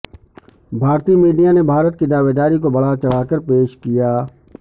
بھارتی میڈیا نے بھارت کی دعویداری کو بڑھا چڑھا کر پیش کیا